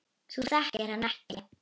Þú þekkir hann ekki.